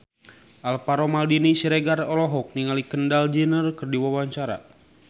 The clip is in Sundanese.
Alvaro Maldini Siregar olohok ningali Kendall Jenner keur diwawancara